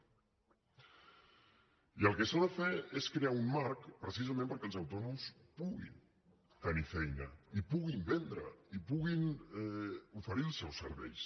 i el que s’ha de fer és crear un marc precisament perquè els autònoms puguin tenir feina i puguin vendre i puguin oferir els seus serveis